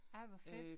Ej hvor fedt